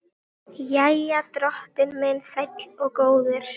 Jæja, drottinn minn sæll og góður.